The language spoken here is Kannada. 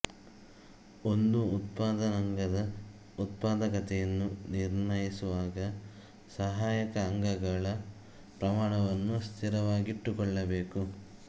ಒಂದು ಉತ್ಪಾದನಾಂಗದ ಉತ್ಪಾದಕತೆಯನ್ನು ನಿರ್ಣಯಿಸುವಾಗ ಸಹಾಯಕ ಅಂಗಗಳ ಪ್ರಮಾಣವನ್ನು ಸ್ಥಿರವಾಗಿಟ್ಟುಕೊಳ್ಳಬೇಕು